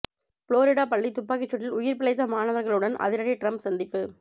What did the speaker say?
Florida பள்ளி துப்பாக்கிச் சூட்டில் உயிர் பிழைத்த மாணவர்களுடன் அதிபர் டிரம்ப் சந்திப்பு